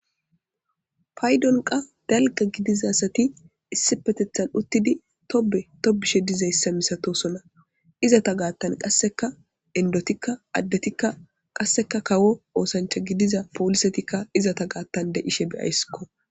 paydonqa dalga gidizasati issi petethan uttidi tobe tobishe dizayssa misatosona izata gaattan qasseka endotikka addetikka qasseka kawo oosancha gidiza poolisetikka izata gaattan de ishe beyaysskko